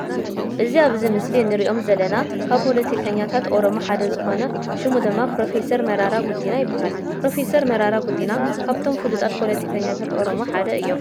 እዚ ኣብዚ ምስሊ እንርእዮም ዘለና ካብ ፖለቲከኛታት አሮሞ ሓደ ዝኮነ እዩ። ሽሙ ድማ ፕሮፈሰር መራራ ጉዲና ይባሃል። ፕሮፈሰር መራራ ጉዲና ካብቶም ፍሉጣት ፖለቲከኛታት አሮሞ ሓደ እዮም።